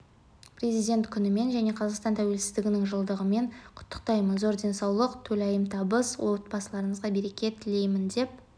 президент күнімен және қазақстан тәуелсіздігінің жылдығымен құттықтаймын зор денсаулық толайым табыс отбасыларыңызға береке тілеймін деп